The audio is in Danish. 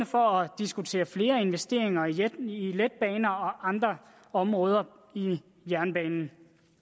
for at diskutere flere investeringer i letbaner og andre områder i jernbanen